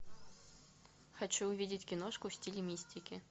хочу увидеть киношку в стиле мистики